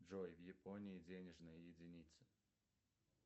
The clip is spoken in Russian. джой в японии денежная единица